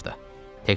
Lap bu yaxınlarda.